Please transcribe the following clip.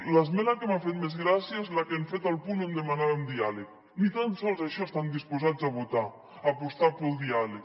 l’esmena que m’ha fet més gràcia és la que han fet al punt on demanàvem diàleg ni tan sols això estan disposats a votar apostar pel diàleg